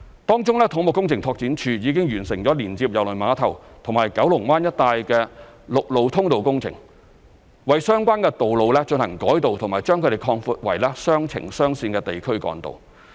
當中，土木工程拓展署已經完成連接郵輪碼頭和九龍灣一帶的陸路通道工程，為相關的道路進行改道及把它們擴闊為雙程雙線的地區幹道。